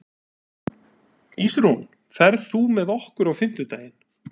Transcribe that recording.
Ísrún, ferð þú með okkur á fimmtudaginn?